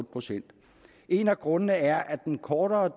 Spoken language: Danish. procent en af grundene er at den kortere